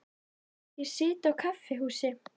Ég sit á kaffihúsi.